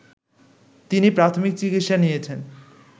তিনি প্রাথমিক চিকিৎসা নিয়েছেন